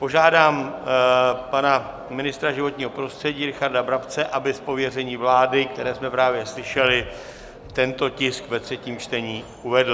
Požádám pana ministra životního prostředí Richarda Brabce, aby z pověření vlády, které jsme právě slyšeli, tento tisk ve třetím čtení uvedl.